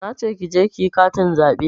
Nace ki je kiyi katin zaɓe